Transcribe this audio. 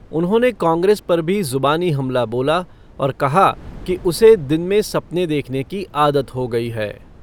उन्होंने कांग्रेस पर भी ज़ुबानी हमला बोला और कहा कि उसे दिन में सपने देखने की आदत हो गई है।